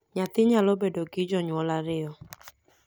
nyathi nayalo bedo gi janyuol ariyo